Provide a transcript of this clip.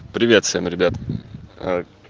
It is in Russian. привет всем ребят аа